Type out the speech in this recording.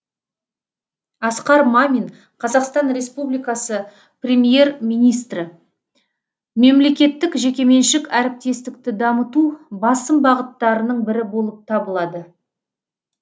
асқар мамин қазақстан республикасы премьер министрі мемлекеттік жекеменшік әріптестікті дамыту басым бағыттарының бірі болып табылады